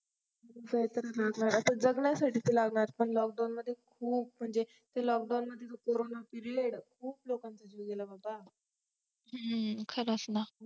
तरी लागलाय आता जगण्यासाठी तर लागणार पण lockdown मध्ये खूप म्हणजे ते lockdown मध्ये तो corona PERIOD खूप लोकांचा जीव गेला बाबा हा खरच ना